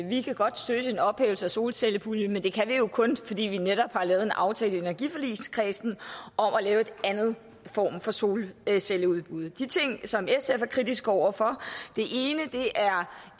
vi kan godt støtte en ophævelse af solcellepuljen men det kan vi jo kun fordi vi netop har lavet en aftale i energiforligskredsen om at lave en anden form for solcelleudbud de ting som sf er kritisk over for er